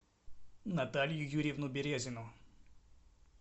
наталью юрьевну березину